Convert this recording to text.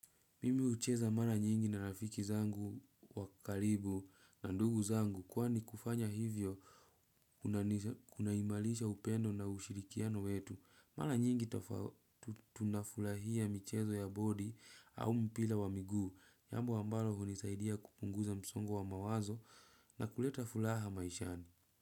Mimi hucheza mara nyingi na rafiki zangu wa karibu na ndugu zangu kwani kufanya hivyo kunaimarisha upendo na ushirikiano wetu. Mara nyingi tunafurahia michezo ya boli au mpira wa miguu. Jambo ambalo hunisaidia kupunguza msongo wa mawazo na kuleta furaha maishani.